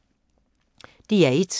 DR1